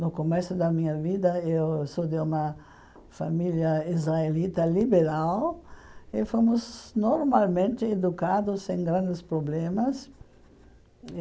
No começo da minha vida, eu sou de uma família israelita liberal e fomos normalmente educados sem grandes problemas.